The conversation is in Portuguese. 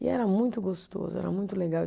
E era muito gostoso, era muito legal.